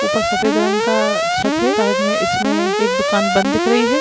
ऊपर सफेद रंग का छत है साइड में इसमें एक दुकान बंद दिख रही है।